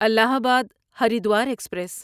الہ آباد ہریدوار ایکسپریس